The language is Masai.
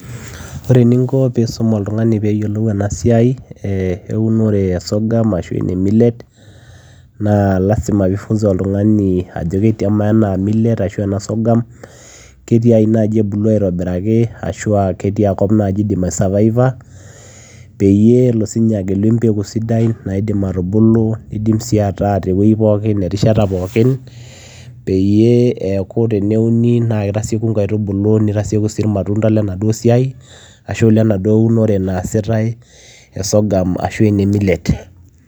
Oree eninko peyiee iisum oltunganii peyiee eyilou ena siai eunoree ee sorghum millet naa lazima peyiee iifunza oltunganii ajoo ketiajii ebuluu aitobirakii ashua ketia kop naaji idim ai aatakuu peyiee eekuu teneuni naa kitasiekuu nkaitubuluu nitasiekuu irmatundaa lenaduoo siai ashu lenaduoo unoree naasitae e sorghum miliets